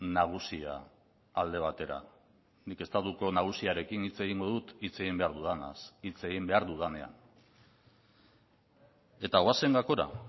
nagusia alde batera nik estatuko nagusiarekin hitz egingo dut hitz egin behar dudanaz hitz egin behar dudanean eta goazen gakora